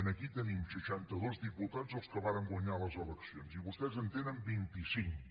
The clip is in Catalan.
aquí tenim seixantados diputats els que vàrem guanyar les eleccions i vostès en tenen vinticinc